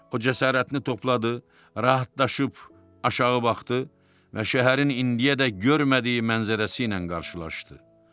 O, cəsarətini topladı, rahatlaşıb aşağı baxdı və şəhərin indiyəcə görmədiyi mənzərəsi ilə qarşılaşdı.